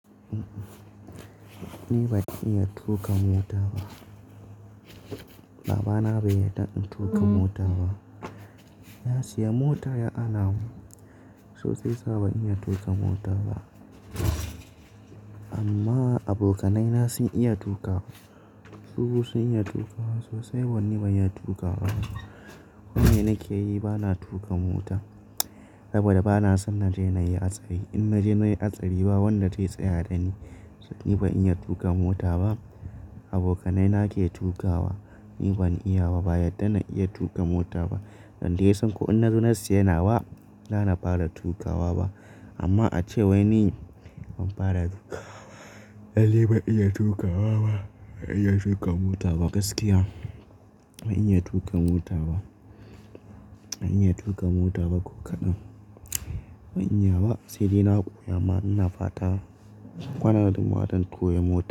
Ni ban iya tuƙa mota ba. Babana bai yarda in tuƙa mota ba. Ya siya mota ya ana mu, so sai sa ban iya tuƙa mota ba. Amma abokanai na sun iya tuƙa, suɓu sun iya tuƙawa. Sosai, wai ni ban iya tuƙa ba. Wanda nake yi bana tuƙa mota saboda bana son naje nayi hatsari. In naje nayi hatsari ba wanda zai tsaya dani. Ni ban iya tuƙa mota ba, abokanai na ke tuƙawa ni ban iya ba. Ba yadda na iya tuƙan mota ba, dan da ya san ko in na zo na siya nawa bana fara tuƙawa ba. Amma a ce wai ni ban fara tuƙawa ba. Ali bai iya tuƙawa ba, ban iya tuƙa mota ba gaskiya. Ban iya tuƙa mota ba, ban iya tuƙa mota ba ko kaɗan. Ban iya ba sai dai koya ama ina fata, kada hadu mu koyo mota.